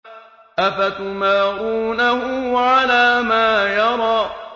أَفَتُمَارُونَهُ عَلَىٰ مَا يَرَىٰ